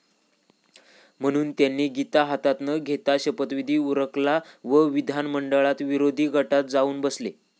म्हणून त्यांनी गीता हातात न घेताच शपथविधी उरकला व विधिमंडळात विरोधी गटात जाऊन बसले